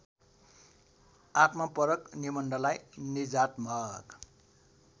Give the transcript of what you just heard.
आत्मपरक निबन्धलाई निजात्मक